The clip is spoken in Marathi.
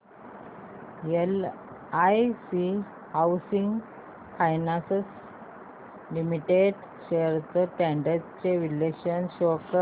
LIC housing finance limited shares trends चे विश्लेषण शो कर